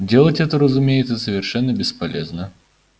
делалось это разумеется совершенно бесполезно